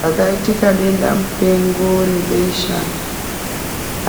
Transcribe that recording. Pakaitika denda mupengo rebesha